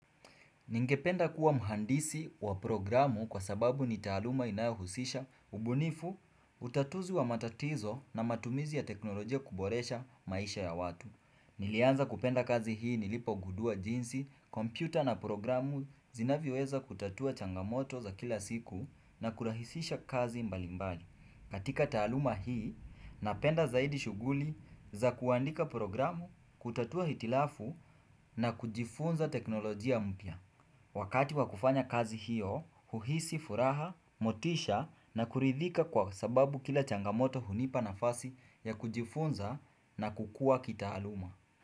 Ningependa kuwa mhandisi wa programu kwa sababu ni taaluma inayohusisha, ubunifu, utatuzi wa matatizo na matumizi ya teknolojia kuboresha maisha ya watu. Nilianza kupenda kazi hii nilipogudua jinsi, kompyuta na programu zinavyoweza kutatua changamoto za kila siku na kurahisisha kazi mbalimbali. Katika taaluma hii. Napenda zaidi shughuli za kuandika programu, kutatua hitilafu na kujifunza teknolojia mpya. Wakati wa kufanya kazi hiyo. Huhisi furaha, motisha na kuridhika kwa sababu kila changamoto hunipa nafasi ya kujifunza na kukua kitaaluma.